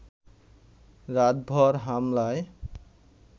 রাতভর হামলায়